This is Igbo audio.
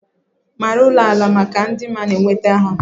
maara ulo-ala maka ịdị mma na nnweta ha